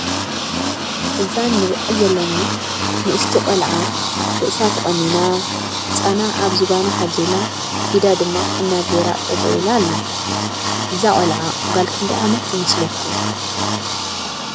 እዛ ንሪአ ዘለና ንእስቲ ቆልዓ ርእሳ ተቆኒና ህፃና አብ ዝባና ሓዚላ ኢዳ ድማ ሕና ገይራ ጠጠው ኢላ አላ ። እዛ ቆልዓ ጋል ክንደይ ዓመት ይመስለኩም?